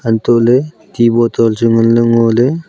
antoh le ti bottle chu nganle ngo le.